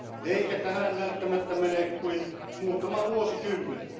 Eikä tähän välttämättä mene kuin muutama vuosikymmen.